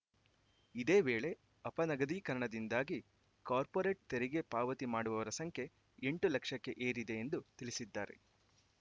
ಇದೇ ವೇಳೆ ಅಪನಗದೀಕರಣದಿಂದಾಗಿ ಕಾರ್ಪೊರೆಟ್‌ ತೆರಿಗೆ ಪಾವತಿ ಮಾಡುವವರ ಸಂಖ್ಯೆ ಎಂಟು ಲಕ್ಷಕ್ಕೆ ಏರಿದೆ ಎಂದು ತಿಳಿಸಿದ್ದಾರೆ